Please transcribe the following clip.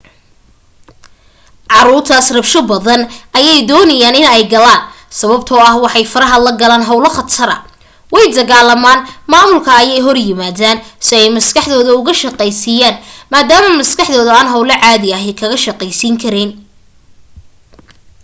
caruurtaas rabsho badan ayay doonayaan in ay galaan sababtoo ah waxaay faraha la galaan hawlo khatara way dagaalamaan maamulka ayay ka hor yimaadaan si ay maskaxdooda uga shaqaysiiyaan maadaama maskaxdooda aan hawlo caadi ahi kaga shaqaysiin karayn